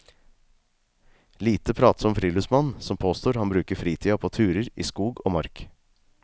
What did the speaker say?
Lite pratsom friluftsmann som påstår han bruker fritida på turer i skog og mark.